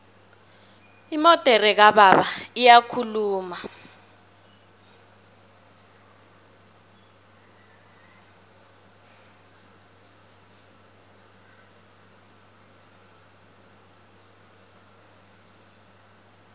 imodere kababa iyakhuluma